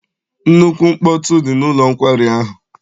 Nnukwu mkpọtụ dị n'ụlọ nkwari ahụ.